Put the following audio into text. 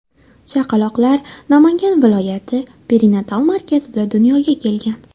Chaqaloqlar Namangan viloyati perinatal markazida dunyoga kelgan.